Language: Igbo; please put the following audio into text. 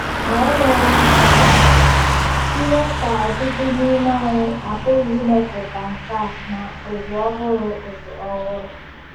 Ma eleghị anya, ihe ka ọtụtụ n’ime anyị apụghị imepụta nkà na ụzụ ọhụrụ ụzụ ọhụrụ.